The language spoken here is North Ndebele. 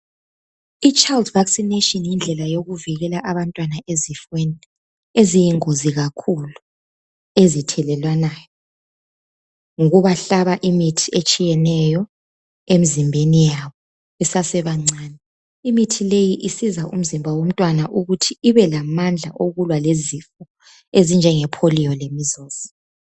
I child vaccination yindlela yokuvikela abantwana ezifeni eziyingozi kakhulu ezithelelwanayo ngokubahlaba imithi etshiyeneyo emizimbeni yabo besesebancane. Imithi leyi isiza umzimba womntwana ukuthi ibelamandla okulwa lezifo ezinjenge polio le measles.